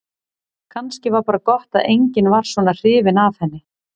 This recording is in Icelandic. Kannski var bara gott að enginn var svona hrifinn af henni.